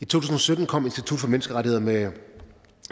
tusind og sytten kom institut for menneskerettigheder med